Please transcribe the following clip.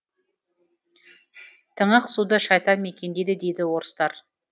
тыңық суды шайтан мекендейді дейді орыстар